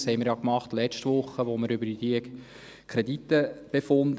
Das haben wir ja letzte Woche getan, als wir über die Kredite befanden.